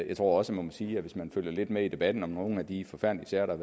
jeg tror også man må sige hvis man følger lidt med i debatten om nogle af de forfærdelige sager der